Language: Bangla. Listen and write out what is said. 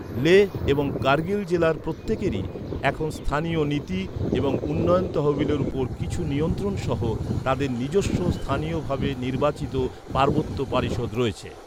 লেহ এবং কার্গিল জেলার প্রত্যেকেরই, এখন স্থানীয় নীতি এবং উন্নয়ন তহবিলের উপর কিছু নিয়ন্ত্রণ সহ, তাদের নিজস্ব স্থানীয়ভাবে নির্বাচিত পার্বত্য পরিষদ রয়েছে।